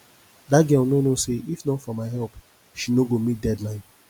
dat girl no know say if not for my help she no go meet deadline